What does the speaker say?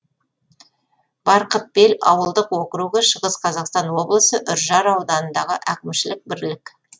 барқытбел ауылдық округі шығыс қазақстан облысы үржар ауданындағы әкімшілік бірлік